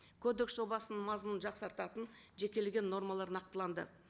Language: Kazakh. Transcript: кодекс жобасының мазмұның жақсартатын жекелеген нормалар нақтыланды